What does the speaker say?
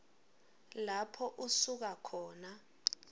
lapho usuka khona